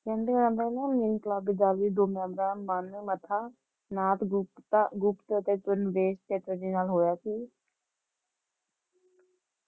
ਕਹਿੰਦੇ ਓਹਨਾਂ ਨਾ ਇੰਕਲਾਬੀ ਦਲ ਮਨ ਮੱਥਾ ਨਾਥ ਗੁਪਤਤਾ ਗੁਪਤ ਅਤੇ ਚੈਟਰਜੀ ਨਾਲ ਹੋਇਆ ਸੀ